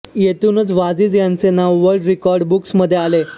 येथूनच वाजिद यांचे नाव वल्र्ड रिकार्ड बुक्स मधे आले